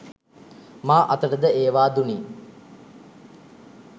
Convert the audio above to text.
මා අතට ද ඒවා දුනි.